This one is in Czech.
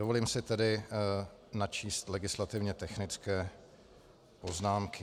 Dovolím si tedy načíst legislativně technické poznámky.